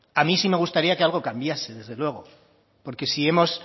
a mí me gustaría que algo cambiase desde luego porque si hemos